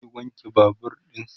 zai wanke Babur ɗinsa